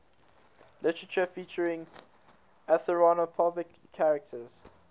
literature featuring anthropomorphic characters